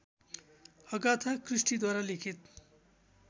Agatha क्रिस्टीद्वारा लिखित